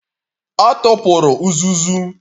Ọ tụpụrụ uzuzu.